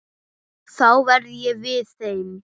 Þá verð ég við þeim.